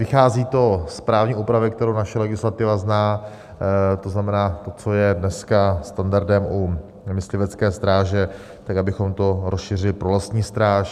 Vychází to z právní úpravy, kterou naše legislativa zná, to znamená to, co je dneska standardem u myslivecké stráže, tak abychom to rozšířili pro lesní stráž.